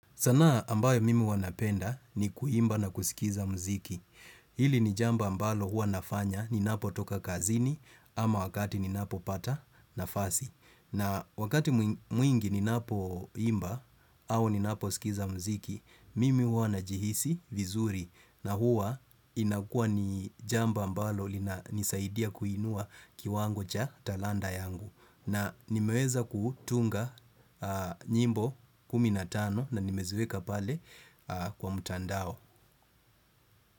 Sanaa ambayo mimi huwa napenda ni kuimba na kusikiza muziki. Hili ni jambo mbalo hua nafanya ninapotoka kazini ama wakati ninapo pata nafasi. Na wakati mwi mwingi ninapo imba au ninapo sikiza muziki, mimi huwa najihisi vizuri na huwa inakuwa ni jambo mbalo linanisaidia kuinua kiwango cha talanta yangu. Na nimeweza kutunga nyimbo kumi na tano na nimeziweka pale kwa mtandao.